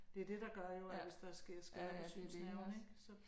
Det er det der gør jo at hvis der sker skader på synsnerverne ik så